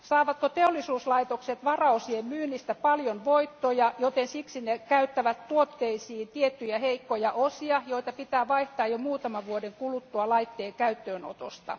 Saavatko teollisuuslaitokset varaosien myynnistä paljon voittoja, joten siksi ne käyttävät tuotteisiin tiettyjä heikkoja osia, joita pitää vaihtaa jo muutaman vuoden kuluttua laitteen käyttöönotosta.